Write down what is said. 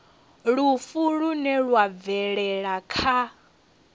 lufu lune lwa bvelela kha